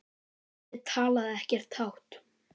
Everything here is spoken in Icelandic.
Ég talaði ekkert hátt.